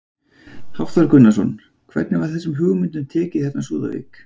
Hafþór Gunnarsson: Hvernig var þessum hugmyndum tekið hérna á Súðavík?